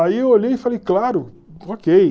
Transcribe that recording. Aí eu olhei e falei, claro, ok.